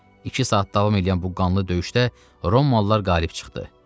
İki saat davam eləyən bu qanlı döyüşdə Romalılar qalib çıxdı.